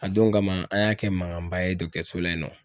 A don kama an y'a kɛ mankanba ye dɔgɔtɔrɔso la yen nɔ.